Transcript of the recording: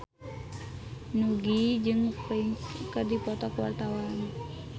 Nugie jeung Prince keur dipoto ku wartawan